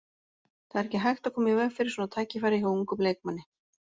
Það er ekki hægt að koma í veg fyrir svona tækifæri hjá ungum leikmanni.